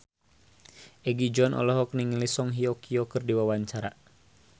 Egi John olohok ningali Song Hye Kyo keur diwawancara